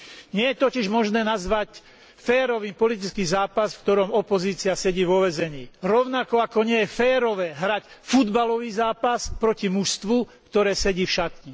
Nie je totiž možné nazvať férovým politický zápas, v ktorom opozícia sedí vo väzení, rovnako ako nie je férové hrať futbalový zápas proti mužstvu, ktoré sedí v šatni.